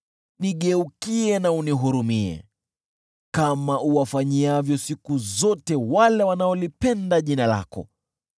Nigeukie na unihurumie, kama uwafanyiavyo siku zote wale wanaolipenda jina lako.